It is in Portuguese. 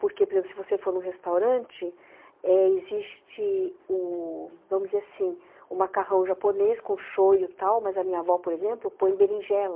Porque, por exemplo, se você for num restaurante, existe ãh, vamos dizer assim, o macarrão japonês com shoyu e tal, mas a minha avó, por exemplo, põe berinjela.